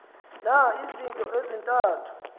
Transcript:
na izinto ezintathu